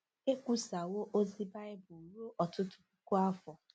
Ekwusawo ozi Bible ruo ọtụtụ puku afọ.